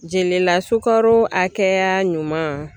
Jelila sukaro hakɛya ɲuman